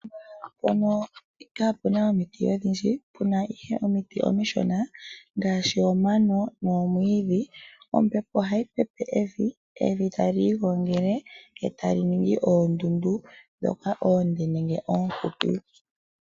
Mpono kapena omiti odhindji pena ihe omiti omishona ngaashi omano nomwiidhi ombepo ohayi pepe evi ,Evi tali igongele etali ningi oondundu ndhoka oonde nenge oohupi